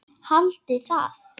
Haldiði það?